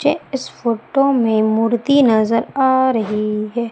जे इस फोटो में मूर्ती नजर आ रही है।